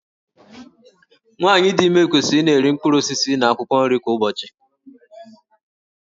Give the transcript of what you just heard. Nwaanyị dị ime kwesịrị ị na-eri mkpụrụ osisi na akwụkwọ nri kwa ụbọchị.